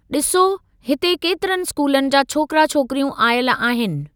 डि॒सो, हिते केतिरनि स्कूलनि जा छोकरा छोकिरियूं आयल आहिनि।